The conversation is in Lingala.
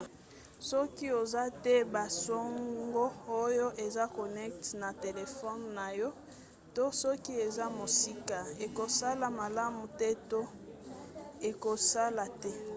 soki oza te na basango oyo eza connecte na telefone na yo to soki eza mosika ekosala malamu te to ekosala te